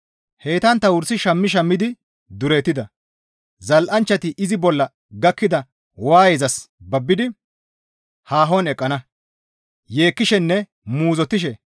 Heytantta wursi shammi shammidi duretida; zal7anchchati izi bolla gakkida waayezas babbidi haahon eqqana; yeekkishenne muuzottishe,